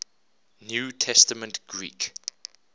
new testament greek